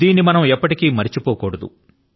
దీనిని మనం ఎప్పటికీ మరచిపోకూడదు